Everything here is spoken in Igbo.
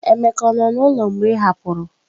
Emeka nọ n'ụlọ mgbe ị hapụrụ?